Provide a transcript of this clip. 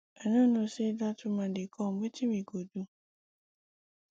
i no know say dat woman dey come wetin we go do